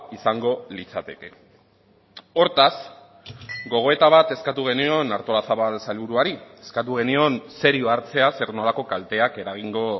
izango litzateke hortaz gogoeta bat eskatu genion artolazabal sailburuari eskatu genion serio hartzea zer nolako kalteak eragingo